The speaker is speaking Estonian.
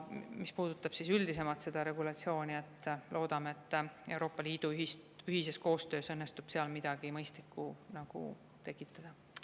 Mis puudutab üldisemalt seda regulatsiooni, siis loodame, et Euroopa Liidu ühises koostöös õnnestub seal midagi mõistlikku tekitada.